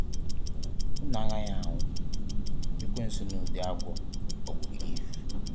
"Unu agaghị anwụ”, ekwensu n'ụdị agwọ ghọgburu Eve.